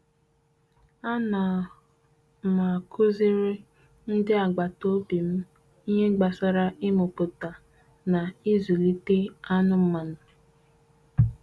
A na m kuziere ndị agbata obi m ihe gbasara ịmụpụta na izụlite anụmanụ.